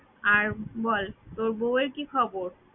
আর বল তোর বউ এর কি খবর?